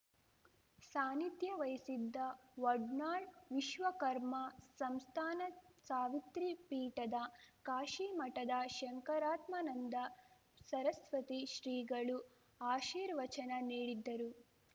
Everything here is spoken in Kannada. ಸಾನ್ನಿಧ್ಯ ವಹಿಸಿದ್ದ ವಡ್ನಾಳ್‌ ವಿಶ್ವಕರ್ಮ ಸಂಸ್ಥಾನ ಸಾವಿತ್ರಿ ಪೀಠದ ಕಾಶಿ ಮಠದ ಶಂಕರಾತ್ಮನಂದಾ ಸರಸ್ವತಿ ಶ್ರೀಗಳು ಆಶೀರ್ವಚನ ನೀಡಿದ್ದರು